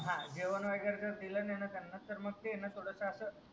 हा जेवण वागेरे दिल नाही त्यांना तर मग ते अस